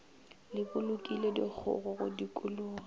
le bolokile dikgogo go dikologa